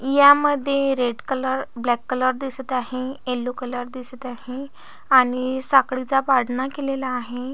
यामध्ये red colour black colour दिसत आहे येलो कलर दिसत आहे आणि साखळीचा पाळणा केलेला आहे.